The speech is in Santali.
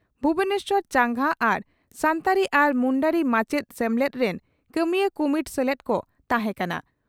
ᱵᱷᱩᱵᱚᱱᱮᱥᱚᱨ ᱪᱟᱸᱜᱟ ᱟᱨ ᱥᱟᱱᱛᱟᱲᱤ ᱟᱨ ᱢᱩᱱᱰᱟᱨᱤ ᱢᱟᱪᱮᱛ ᱥᱮᱢᱞᱮᱫ ᱨᱤᱱ ᱠᱟᱹᱢᱤᱭᱟᱹ ᱠᱩᱢᱩᱴ ᱥᱮᱞᱮᱫ ᱠᱚ ᱛᱟᱦᱮᱸ ᱠᱟᱱᱟ ᱾